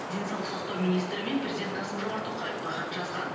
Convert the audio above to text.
денсаулық сақтау министрі мен президент қасым жомарт тоқаевқа хат жазған